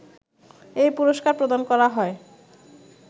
এই পুরস্কার প্রদান করা হয়